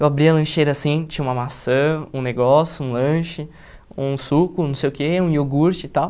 Eu abria a lancheira assim, tinha uma maçã, um negócio, um lanche, um suco, não sei o que, um iogurte e tal.